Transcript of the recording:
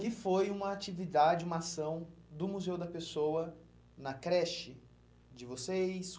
Que foi uma atividade, uma ação do Museu da Pessoa na creche de vocês.